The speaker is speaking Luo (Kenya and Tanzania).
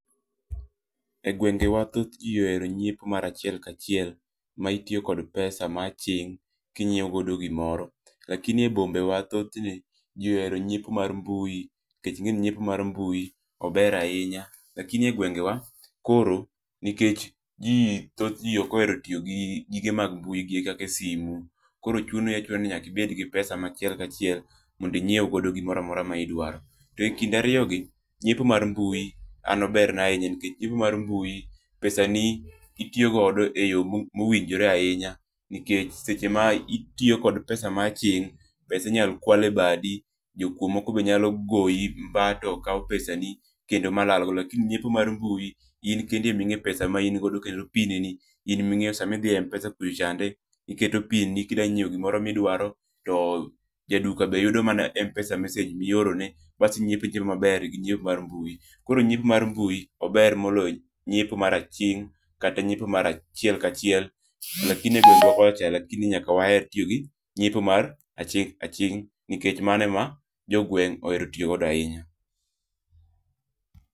E gwenge wa thoth ji ohero nyiepo mar achiel ka achiel ma itiyo kod pesa mar aching' kinyiewo godo gimoro. Lakini e bombe wa thothne ji ohero nyiepo mar mbui nikech ing'eni nyiepo mar mbui ober ahinya. Lakini e gwenge wa koro nikech ji thoth ji ok ohero tiyo gi gige mag mbui gi kaka e simu, koro chuno achuna ni nyaka ibed gi pesa ma achiel kachiel mondo inyiew godo gimoro amora ma idwaro. To ekind ariyo gi, nyiepo mar mbui an oberna ahinya nikech nyiepo mar mbui pesa ni itiyo godo e yo mowinjore ahinya. Nikech seche ma itiyo kod pesa ma aching', pesa inyalo kwal e badi, jokuo moko be nyalo goyi bang'e to kao pesa ni kendo malal go. Lakini nyiepo mar mbui in kendi e ma ing'e pesa ma in godo kendo pin ni in ming'eyo sama idhi e Mpesa kucho chande, iketo pin ni kidanyiewo gimoro miduaro. To jaduka be yudo mana Mpesa message mioro ne. Bas inyiepo itimo maber gi nyiepo mar nyiepo. Koro nyiepo mar mbui ober moloyo nyiepo mar aching' kata nyiepo mar achiel ka achiel. Lakini e gwenge wa kocha lakini nyaka waher tiyo gi nyiepo mar aching' aching' nikech mano e ma jogweng' ohero tiyo godo ahinya.